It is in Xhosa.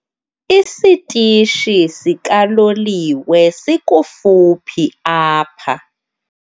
Isitishi sikaloliwe sikufuphi apha.